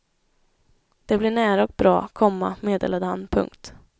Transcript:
Det blir nära och bra, komma meddelade han. punkt